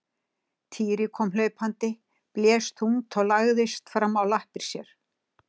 Týri kom hlaupandi, blés þungt og lagðist fram á lappir sér.